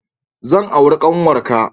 Zan auri ƙanwarka.